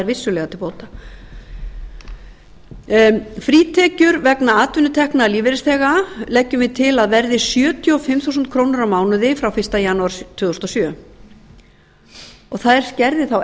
vissulega til bóta annars frítekjur vegna atvinnutekna lífeyrisþega leggjum við til að verði sjötíu og fimm þúsund krónur á mánuði frá fyrsta janúar tvö þúsund og sjö þær skerði þá